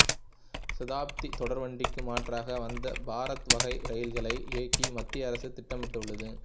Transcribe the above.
சதாப்தி தொடர்வண்டிக்கு மாற்றாக வந்தே பாரத் வகை ரயில்களை இயக்க மத்திய அரசு திட்டமிட்டுள்ளது